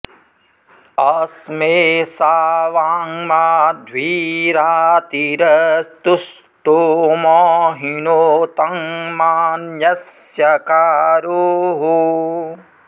अ॒स्मे सा वां॑ माध्वी रा॒तिर॑स्तु॒ स्तोमं॑ हिनोतं मा॒न्यस्य॑ का॒रोः